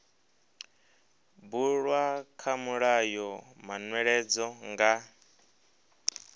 bulwa kha mulayo manweledzo nga